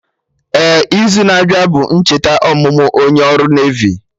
Ee, izu na-abịa bụ ncheta ọmụmụ onye ọrụ Nevi